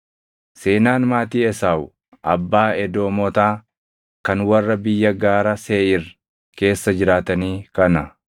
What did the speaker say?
Seenaan maatii Esaawu abbaa Edoomotaa kan warra biyya gaara Seeʼiir keessa jiraatanii kana.